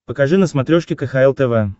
покажи на смотрешке кхл тв